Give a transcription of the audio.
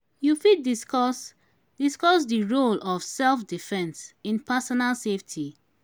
you fit discuss discuss di role of self-defense in personal safety.